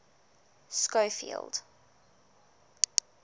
schofield